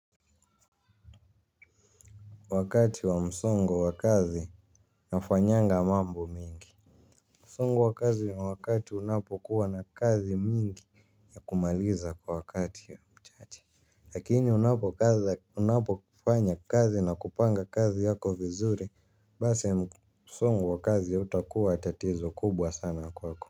Wakati wa msongo wa kazi nafanyanga mambo mingi. Msongo wa kazi ya wakati unapokuwa na kazi mingi ya kumaliza kwa wakati ya mchache. Lakini unapofanya kazi na kupanga kazi yako vizuri basi msongo wa kazi hautakuwa tatizo kubwa sana kwako.